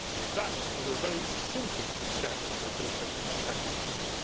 That was a very simple step they could have taken to tackle this problem.